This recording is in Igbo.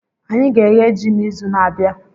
Anyị ga-eghe ji n'izu na-abịa.